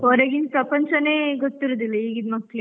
ಹೊರಗಿನ್ ಪ್ರಪಂಚನೇ ಗೊತ್ತಿರುದಿಲ್ಲ, ಈಗಿನ್ ಮಕ್ಳಿಗೆ.